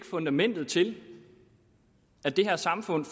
fundamentet til at det her samfund